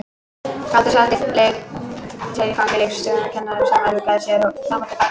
Galdur sat í fangi leikskólakennarans sem ruggaði sér fram og til baka.